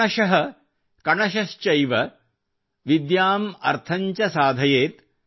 ಕ್ಷಣಶಃ ಕಣಶಶ್ಚೈವ ವಿದ್ಯಾಮ್ ಅರ್ಥಂ ಚ ಸಾಧಯೇತ್